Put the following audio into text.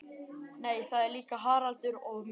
Nei það er líka Haraldur og Mummi.